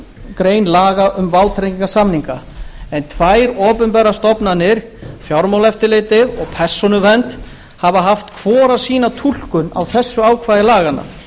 grein laga um vátryggingarsamninga en tvær opinberar stofnanir fjármálaeftirlitið og persónuvernd hafa haft hvor sína túlkun á þessu ákvæði laganna